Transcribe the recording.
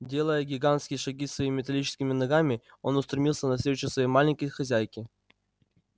делая гигантские шаги своими металлическими ногами он устремился навстречу своей маленькой хозяйке